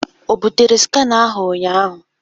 O bụtere skanar ahụ ụnyaahụ?